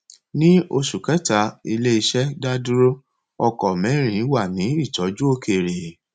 ní oṣù kẹta ilé iṣẹ dá dúró ọkọ mẹrin wà ní ìtọjú òkèèrè